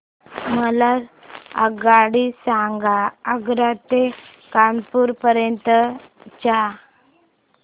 मला आगगाडी सांगा आग्रा ते कानपुर पर्यंत च्या